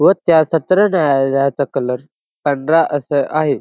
व त्या सत्र न्यायालयाचा कलर पांढरा असं आहे.